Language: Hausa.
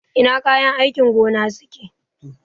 Ina kayan aikin gona suke?